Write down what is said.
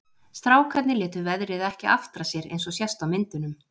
Strákarnir létu veðrið ekki aftra sér eins og sést á myndunum.